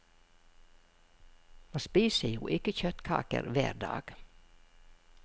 Man spiser jo ikke kjøttkaker hver dag.